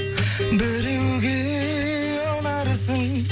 біреуге ұнарсың